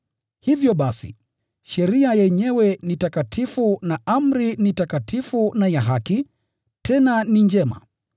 Hivyo basi, sheria yenyewe ni takatifu, na amri ni takatifu na ya haki, tena ni njema.